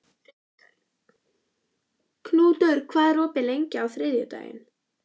Knútur, hvað er opið lengi á þriðjudaginn?